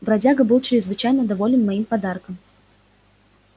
бродяга был чрезвычайно доволен моим подарком